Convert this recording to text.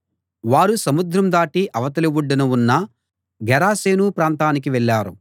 వారు సముద్రం దాటి అవతలి ఒడ్డున ఉన్న గెరాసేను ప్రాంతానికి వెళ్ళారు